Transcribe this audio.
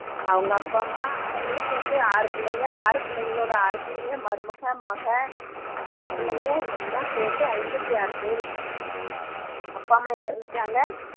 அவங்க அப்பா அம்மா அவங்களுக்கு வந்து ஆறு பிள்ளைங்க ஆறு பிள்ளைங்களோட ஆறு பிள்ளைங்க மருமக மக பேரப்பிள்ளைங்க எல்லாம் சேர்த்து ஐம்பத்தி ஆறு பேரு அப்பா அம்மா இறந்துட்டாங்க